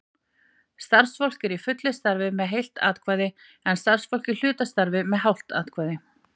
Starfsfólk í fullu starfi fer með heilt atkvæði, en starfsfólk í hlutastarfi með hálft atkvæði.